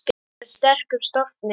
Ég er af sterkum stofni.